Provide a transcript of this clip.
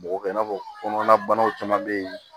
Bɔgɔ kɛ i n'a fɔ kɔnɔnabanaw caman bɛ yen